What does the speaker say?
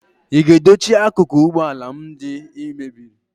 ị ga-edochi akụkụ ụgbọ ala m ndị ị mebiri